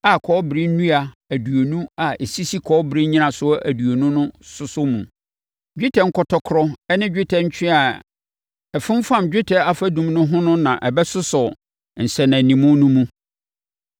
a kɔbere nnua aduonu a ɛsisi kɔbere nnyinasoɔ aduonu mu sosɔ mu. Dwetɛ nkɔtɔkorɔ ne dwetɛ ntweaa a ɛfomfam dwetɛ afadum no ho no na ɛbɛsosɔ nsɛnanimu no mu.